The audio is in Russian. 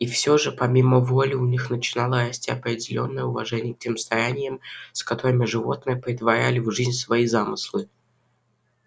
и все же помимо воли у них начинало расти определённое уважение к тем стараниям с которыми животные претворяли в жизнь свои замыслы